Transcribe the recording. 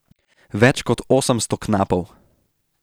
Več kot osemsto knapov.